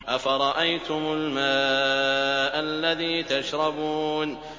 أَفَرَأَيْتُمُ الْمَاءَ الَّذِي تَشْرَبُونَ